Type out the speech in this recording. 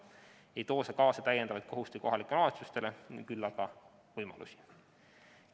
See ei too kaasa lisakohustusi kohalikele omavalitsustele, küll aga võimalusi.